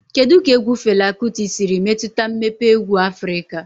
Kedu ka egwu Fela Kuti siri metụta mmepe egwu Afrika?